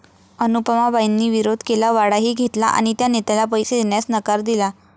अनुपमाबाईंनी विरोध केला, वाडाही घेतला आणि त्या नेत्याला पैसे देण्यास नकार दिला.